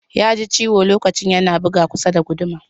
He hurt his hand while using the Hammer to hit a nail.